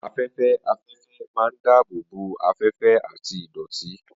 Afẹ́fẹ́ afẹ́fẹ́ máa ń dáàbò bo afẹ́fẹ́ àti ìdọ̀tí.